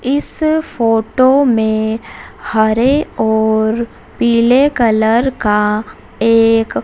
इस फोटो में हरे और पीले कलर का एक--